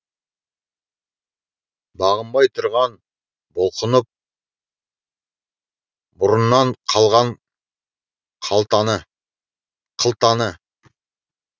бағынбай тұрған бұлқынып бұрыннан қалған қылтаны